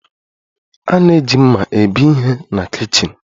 A na-eji mma ebe ihe na kichin.